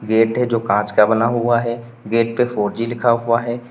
Gate है जो कांच का बना हुआ है गेट पे फोर जी लिखा हुआ है।